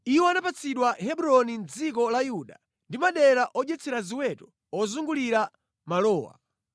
Iwo anapatsidwa Hebroni mʼdziko la Yuda ndi madera odyetsera ziweto ozungulira malowa.